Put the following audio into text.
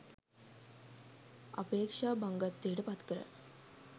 අපේක්ෂා භංගත්වයට පත්කරයි.